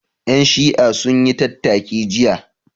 Ƴan Shi'a sun yi tattaki jiya